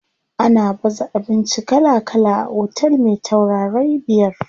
Ana baza abinci kala kala a otel me taurarai biyar.